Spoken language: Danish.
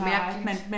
Mærkeligt